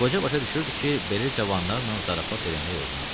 Qoca başa düşürdü ki, belə cavanlarla zarafat eləmək olmaz.